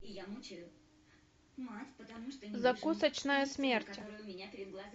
закусочная смерти